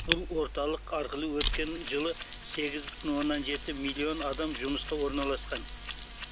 бұл орталық арқылы өткен жылы сегіз бүтін оннан жеті миллион адам жұмысқа орналасқан